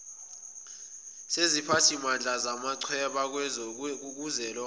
seziphathimandla zamachweba kuzwelonke